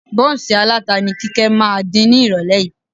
Bọ́ǹsì aláta ni Kíkẹ́ máa dín nírọ̀lẹ́ yìí